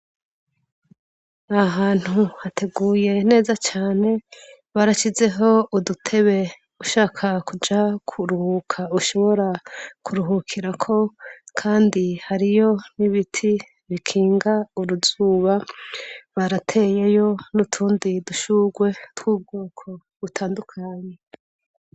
Aha hantu hateguye neza cane, barashizeho udutebe, ushaka kuja kuruhuka ushobora kuruhukirako Kandi hariyo n’ ibiti bikinga uruzuba , barateyeyo n’utundi dushurwe tw’ubwoko butandukanye.